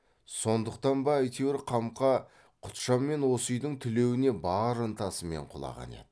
сондықтан ба әйтеуір қамқа құтжан мен осы үйдің тілеуіне бар ынтасымен құлаған еді